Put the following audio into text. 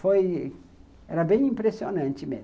Foi... Era bem impressionante mesmo.